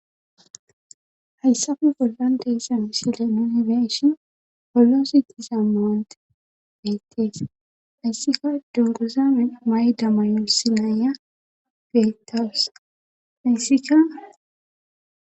hayssappe bollan de'iza misile nuuni be'ishin holoosi giza mawonte beettees hayssikka dunguza may'da mayos isssi na'iya beetawus hayssika